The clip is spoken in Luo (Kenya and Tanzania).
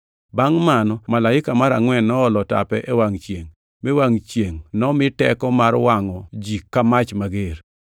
Bangʼ mano Malaika mar angʼwen noolo tape e wangʼ chiengʼ, mi wangʼ chiengʼ nomi teko mar wangʼo ji ka mach mager.